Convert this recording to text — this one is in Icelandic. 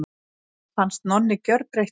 Mér fannst Nonni gjörbreyttur.